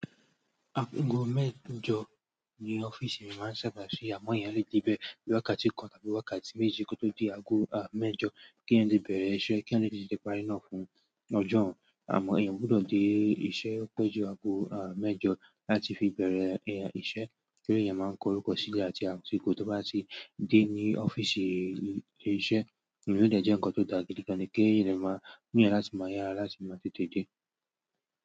Aago mẹ́jọ ni ọ́fíìsì mi máa ń sábà ṣí, àmọ́ èèyàn lè dé bẹ́ẹ̀ ní wákàtí kan tàbí wákàtí méjì kótó di aago mẹ́jọ, kí èèyàn lè bẹ̀rẹ̀ iṣẹ́, kí èèyàn lè tètè parí náà fún ọjọ́ ọ̀hún. Àmọ́ èèyàn gbọ́dọ̀ dé iṣẹ́ ó pẹ́jù aago mẹ́jọ láti fi bẹ̀rẹ̀ èèyàn iṣẹ́ kí èèyàn máa kó orúkọ sílẹ̀ àti àsìkò tó bá ti dé ní ọ́fíìsì ilé iṣẹ́. Eléyìí dẹ̀ jẹ́ ǹkan tó dàgbà gidi gan kí èèyàn máa ní èèyàn láti máa yá, láti máa tètè dé.